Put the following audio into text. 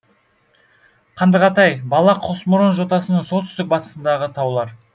қандығатай бала қосмұрын жотасының солтүстік батысындағы таулар